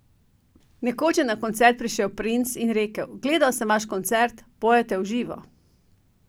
Nekoč je na koncert prišel Prince in rekel: 'gledal sem vaš koncert, pojete v živo.